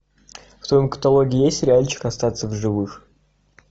в твоем каталоге есть сериальчик остаться в живых